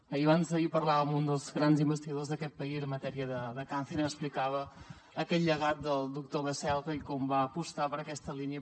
ahir abans d’ahir parlava amb un dels grans investigadors d’aquest país en matèria de càncer i m’explicava aquest llegat del doctor baselga i com va apostar per aquesta línia